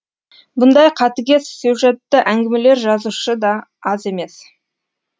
бұндай қатыгез сюжетті әңгімелер жазушыда аз емес